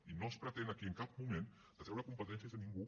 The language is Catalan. i no es pretén aquí en cap moment de treure competències a ningú